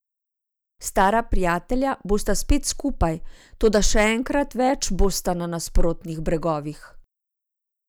Stara prijatelja bosta spet skupaj, toda še enkrat več bosta na nasprotnih bregovih.